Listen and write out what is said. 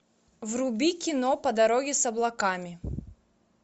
вруби кино по дороге с облаками